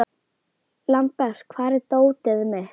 Lambert, hvar er dótið mitt?